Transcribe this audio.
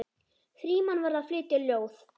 Frímann var að flytja ljóð.